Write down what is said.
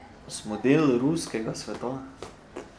Smo del ruskega sveta.